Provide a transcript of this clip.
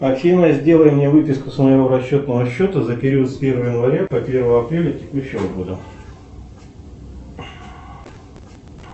афина сделай мне выписку с моего расчетного счета за период с первого января по первое апреля текущего года